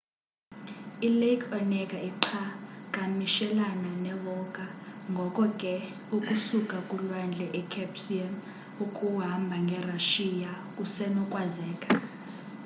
i lake onega iqhakamishelalana ne volga ngoko ke xa usuka kulwandle i caspiam uhamba nge russia kusenokwazeka